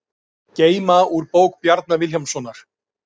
Geyma úr bók Bjarna Vilhjálmssonar